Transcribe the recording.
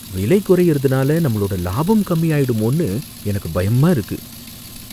விலை குறையறதுனால நம்மளோட லாபம் கம்மியாயிடுமோன்னு எனக்கு பயமா இருக்கு.